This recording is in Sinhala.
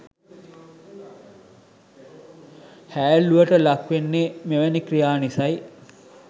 හෑල්ලුවට ලක්වෙන්නෙ මෙවැනි ක්‍රියා නිසයි.